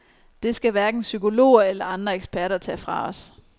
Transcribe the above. Det skal hverken psykologer eller andre eksperter tage fra os.